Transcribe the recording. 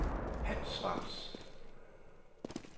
Hans Schwartz